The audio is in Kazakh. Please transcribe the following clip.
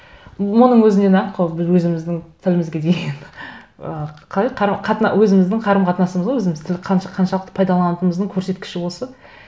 оның өзінен ақ өзіміздің тілімізге деген ы қалай өзіміздің қарым қатынасымыз ғой өзіміз тіл қаншалықты пайдаланатынымыздың көрсеткіші осы